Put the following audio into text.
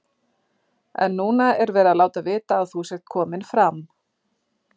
En núna er verið að láta vita að þú sért kominn fram.